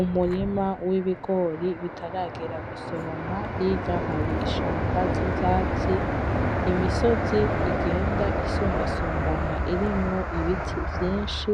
Umurima w'ibigori bitaragera gusoromwa hirya hari ishamba ry'ivyatsi imisozi igenda isumba sumbana irimwo ibiti vyinshi